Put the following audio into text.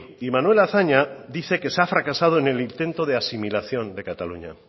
y manuel azaña dice que se ha fracasado en el intento de asimilación de cataluña